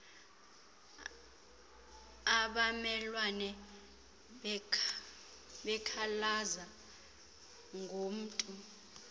abamelwane bekhalaza ngomntu